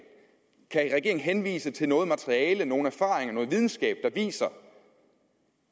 henvise til noget materiale nogen erfaringer noget videnskab der viser